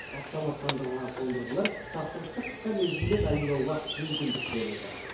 автоматтандырылған қондырғылар тапсырысты қысқа мерзімде дайындауға мүмкіндік береді